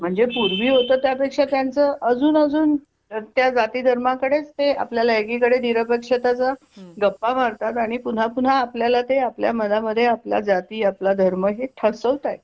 म्हणजे पूर्वी होत त्यापेक्षा त्यांचं आजून आजून त्या जाती धर्माकडे ते आपल्या एकीकडे निरपेक्षतेच्या गप्पा मार तात आणि पुन्हा पुन्हा आपल्या ला तें आपल्या मनामध्ये आपला आपला जाती आपला धर्म हे ठसवताय